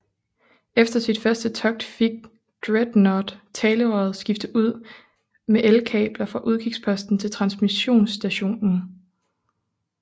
Efter sit første togt fik Dreadnought talerøret skiftet ud med elkabler fra udkigsposten til transmissionsstationen